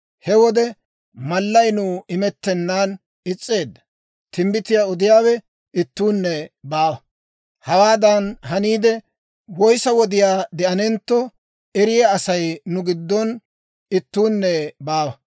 He wode mallay nuw imettennan is's'eedda; timbbitiyaa odiyaawe ittuunne baawa. Hawaadan haniide, woyissa wodiyaa de'anentto, eriyaa Asay nu giddon ittuunne baawa.